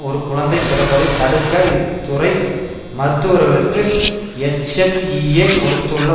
ஒரு குழந்தை பிறப்பதை தடுக்க இத்துறை மருத்துவர்களுக்கு எச் எஃப் இ ஏ கொடுத்துள்ள